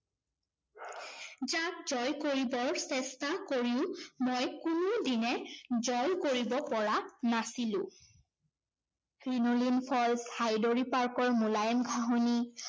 যাক জয় কৰিবৰ চেষ্টা কৰিও মই কোনো দিনে জয় কৰিব পৰা নাছিলো। ক্ৰিনোলিন falls, হাইদৰী park ৰ মোলায়েম ঘাঁহনি